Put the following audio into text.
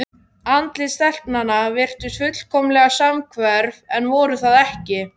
Andlit stelpnanna virtust fullkomlega samhverf en voru það ekki.